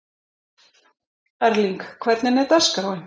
Erling, hvernig er dagskráin?